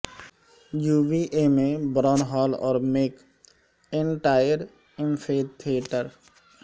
یووی A میں Brown Hall اور McIntire amphitheatre